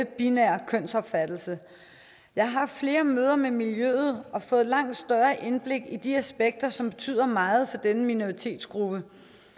binære kønsopfattelse jeg har haft flere møder med miljøet og fået et langt større indblik i de aspekter som betyder meget for denne minoritetsgruppe